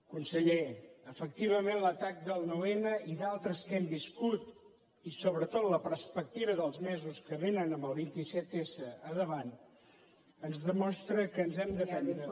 conseller efectivament l’atac del nou n i d’altres que hem viscut i sobretot la perspectiva dels mesos que vénen amb el vint set s al davant ens demostra que ens hem de prendre